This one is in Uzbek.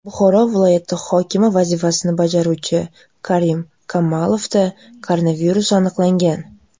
Buxoro viloyati hokimi vazifasini bajaruvchi Karim Kamolovda koronavirus aniqlangan.